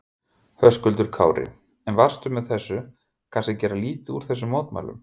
Höskuldur Kári: En varstu með þessu kannski að gera lítið úr þessum mótmælum?